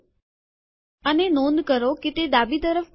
અને નોંધ કરો તે ડાબી તરફ ગોઠવણીમાં છે